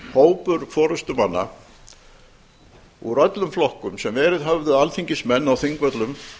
hópur forustumanna úr öllum flokkum sem verið höfðu alþingismenn á þingvöllum